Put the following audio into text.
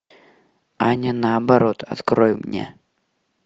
аня наоборот открой мне